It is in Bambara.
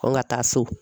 An ka taa so